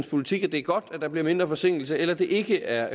politik at det er godt at der bliver mindre forsinkelse eller det ikke er